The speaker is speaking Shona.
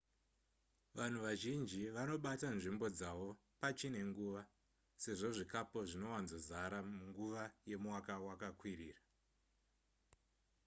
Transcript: vanhu vazhinji vanobata nzvimbo dzavo pachine nguva sezvo zvikapo zvinowanzozara munguva yemwaka wakakwirira